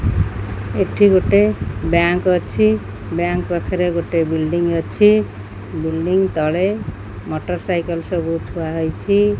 ଏଠି ଗୋଟେ ବ୍ୟାଙ୍କ୍ ଅଛି ବ୍ୟାଙ୍କ୍ ପଖରେ ଗୋଟେ ବିଉଲ୍ଡିଁ ଅଛି ବିଇଲ୍ଡି ତଳେ ମୋଟର ସାଇକଲ ସବୁ ଥୁଆହୋଇଛି।